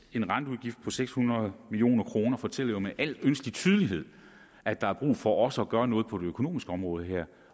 en renteudgift på seks hundrede million kroner fortæller jo med al ønskelig tydelighed at der er brug for også at gøre noget på det økonomiske område her